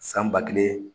San ba kelen